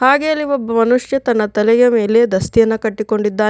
ಹಾಗೆ ಅಲ್ಲಿ ಒಬ್ಬ ಮನುಷ್ಯ ತನ್ನ ತಲೆಯ ಮೇಲೆ ದಸ್ತಿಯನ್ನ ಕಟ್ಟುಕೊಂಡಿದ್ದಾ --